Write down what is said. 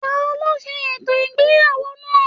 Taló se ètò ìgbéyàwó náà?